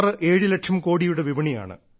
67 ലക്ഷം കോടിയുടെ വിപണിയാണ്